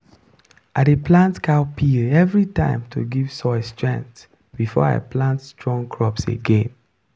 i dey plant cowpea every time to give soil strength before i plant strong crops again.